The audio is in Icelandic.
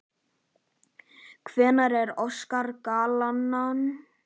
Hverjar eru orsakar gallanna?